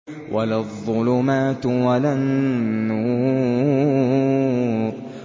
وَلَا الظُّلُمَاتُ وَلَا النُّورُ